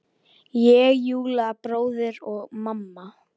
Ég, Júlli bróðir og mamma.